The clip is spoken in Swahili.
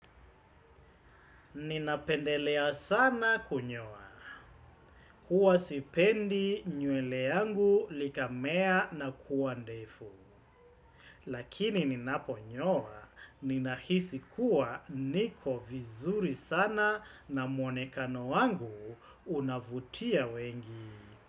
Ninapendelea sana kunyoa. Huwa sipendi nywele yangu likamea na kuwa ndefu. Lakini ninaponyoa, ninahisi kuwa niko vizuri sana na mwonekano wangu unavutia wengi.